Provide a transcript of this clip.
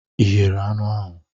Ị eghere anụ ahụ